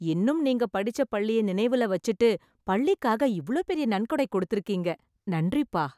இன்னும் நீங்க படிச்ச பள்ளிய நினைவுல வச்சுட்டு பள்ளிக்காக இவ்ளோ பெரிய நன்கொடை கொடுத்துருக்கீங்க. நன்றிப்பா.